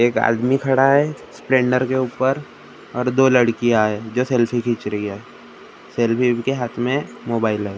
आदमी खडा हे स्प्लेंडर के उपर और दो लड़कियाँ हैं जो सेल्फी खींच रही हैं सेल्फी के लिए इनके हाथ में मोबाइल हे एक --